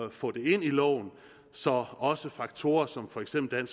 at få det ind i loven så også faktorer som for eksempel